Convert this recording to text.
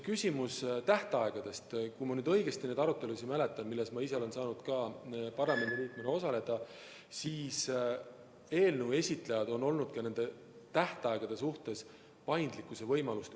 Küsimus tähtaegadest – kui ma nüüd õigesti neid arutelusid mäletan, milles ma ise olen saanud parlamendiliikmena osaleda, siis eelnõu esitajad on ka tähtaegade suhtes näidanud üles paindlikkuse võimalust.